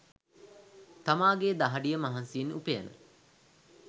තාමාගේ දහඩිය මහන්සියෙන් උපයන